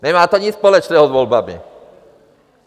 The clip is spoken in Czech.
Nemá to nic společného s volbami!